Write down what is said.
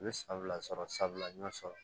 U ye fila sɔrɔ sabula n y'o sɔrɔ